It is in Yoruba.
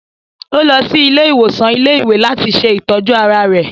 Ò lọ sí ilé-ìwòsàn ilé-ìwé làti ṣe itọju ara rẹ̀